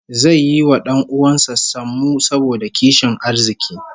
Zai yi wa 'dan uwan sa sammu saboda kishin arziki